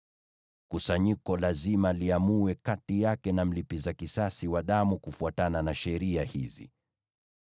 kusanyiko lazima liamue kati yake na mlipiza kisasi wa damu kufuatana na sheria hizi.